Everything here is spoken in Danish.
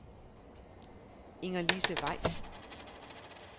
Ingerlise Weiss